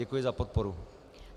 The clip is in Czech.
Děkuji za podporu.